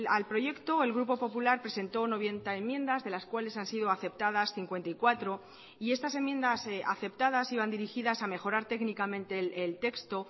al proyecto el grupo popular presentó noventa enmiendas de las cuales han sido aceptadas cincuenta y cuatro y estas enmiendas aceptadas iban dirigidas a mejorar técnicamente el texto